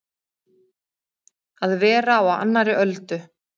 Að vera á annarri öldu